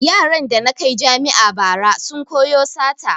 Yaran da na kai jami'a bara sun koyo sata